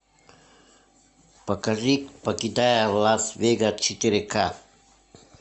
покажи покидая лас вегас четыре ка